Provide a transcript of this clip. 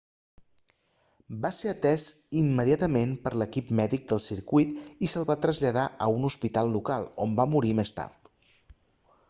va ser atès immediatament per l'equip mèdic del circuit i se'l va traslladar a un hospital local on va morir més tard